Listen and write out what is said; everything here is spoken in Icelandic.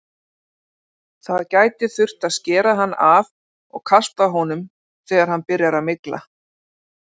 Það gæti þurft að skera hann af og kasta honum þegar hann byrjar að mygla.